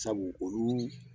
Sabu olu